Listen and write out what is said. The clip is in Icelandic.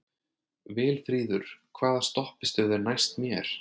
Vilfríður, hvaða stoppistöð er næst mér?